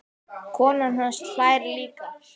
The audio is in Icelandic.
Konan hans hlær líka.